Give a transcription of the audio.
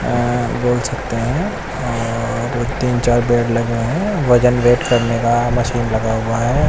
हां बोल सकते हैं और तीन चार पेड़ लगे है वजन वेट करने का मशीन लगा हुआ है।